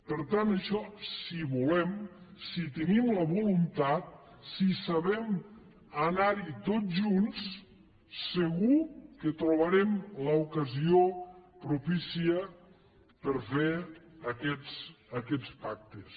per tant això si volem si en tenim la voluntat si sabem anarhi tots junts segur que trobarem l’ocasió propícia per fer aquests pactes